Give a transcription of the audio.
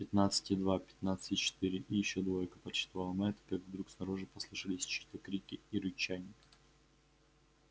пятнадцать и два пятнадцать и четыре и ещё двойка подсчитывал мэтт как вдруг снаружи послышались чьи то крики и рычание